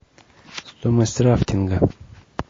стоимость рафтинга